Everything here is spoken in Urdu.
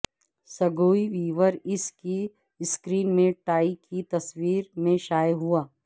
سگوئی ویور اس کی سکرین میں ٹائی کی تصویر میں شائع ہوا